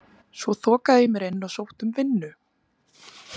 Svo þokaði ég mér inn og sótti um vinnu.